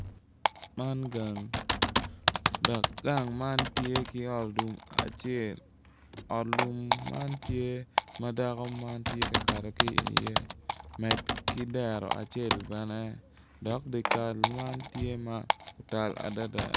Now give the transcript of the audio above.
Man gang dok gang man tye ki ot lum acel ot lum man tye ma dako man tye ka kato ki iye med ki dero bene acel bene dok dikal man tye ma otal adada.